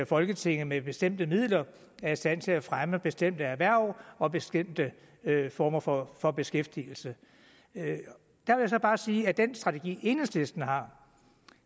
folketinget med bestemte midler er i stand til at fremme bestemte erhverv og bestemte former for for beskæftigelse jeg vil bare sige at med den strategi enhedslisten har